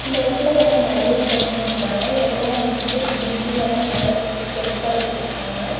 இந்த இடத்துல வந்து நறைய பொண்ணுங்க இருக்காங்கா எல்லா வந்துட்டு பிந்தி எல்லா நல்லாசு பெருசா வச்சிருக்காங்க.